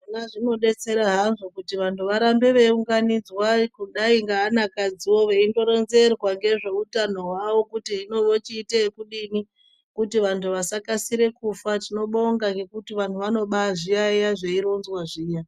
Zvona zvinobetsera hazvo kuti vantu varambe veiunganidzwa kudai ngeana kadzivo veindoronzerwa ngezveutano hwavo kuti hino vochiite yekudini. Kuti vantu vasakasire kufa tinobonga ngekuti vantu vanobazviyaiya zveironzwa zviya.